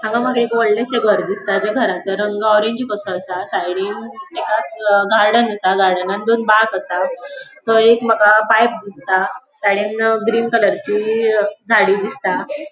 हांगा माका एक वडलेशे घर दिसता ज्या घराचो रंग ऑरेंज कसो आसा साइडीन तेकाच गार्डन आसा गार्डनान दोन बाक आसा थंय एक माका पाइप दिसता सायडीन ग्रीन कलर ची झाडी दिसता.